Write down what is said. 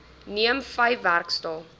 neem vyf werksdae